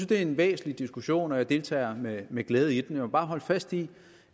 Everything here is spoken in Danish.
det er en væsentlig diskussion og jeg deltager med med glæde i den jeg vil bare holde fast i